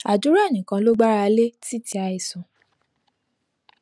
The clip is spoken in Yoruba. àdúrà nìkan ṣoṣo ló gbára lé títí àìsàn